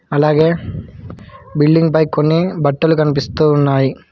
అలాగే బిల్డింగ్ పై కొన్ని బట్టలు కన్పిస్తూ ఉన్నాయి.